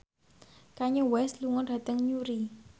Kanye West lunga dhateng Newry